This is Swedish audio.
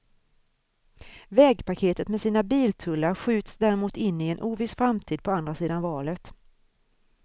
Vägpaketet med sina biltullar skjuts däremot in i en oviss framtid på andra sidan valet.